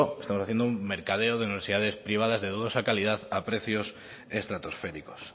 están haciendo un mercadeo de universidades privadas de gruesa calidad a precios estratosféricos